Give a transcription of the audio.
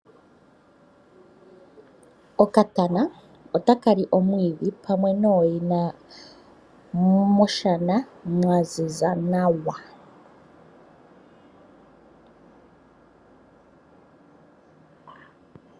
Okatana otaka li omwidhi pamwe nooyina, moshana mwa ziza nawa.